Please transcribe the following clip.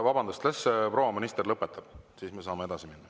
Vabandust, las proua minister lõpetab, siis me saame edasi minna.